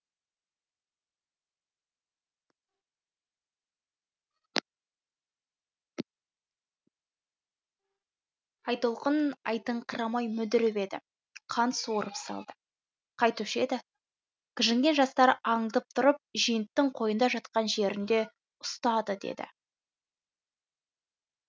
айтолқын айтыңқырамай мүдіріп еді қант суырып салды қайтушы еді кіжінген жастар аңдып тұрып женттің қойнында жатқан жерінде ұстады деді